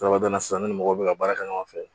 Dɔwɛrɛ bɛna sisan ne ni mɔgɔ bɛ ka baara kɛ ɲɔgɔn fɛ